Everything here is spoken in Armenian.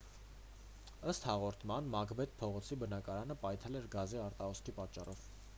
ըստ հաղորդման մակբեթ փողոցի բնակարանը պայթել էր գազի արտահոսքի պատճառով